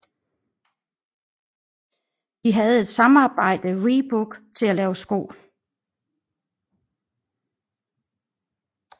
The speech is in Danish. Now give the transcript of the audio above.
De havde et sammarbejde Reebok til at lave sko